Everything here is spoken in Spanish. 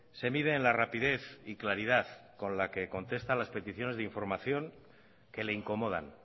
se mide en la rapidez y claridad con la que contesta a las peticiones de información que le incomodan